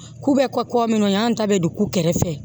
K'u bɛ kɔ kɔ minnu y'an ta bɛ don kukɛrɛ fɛ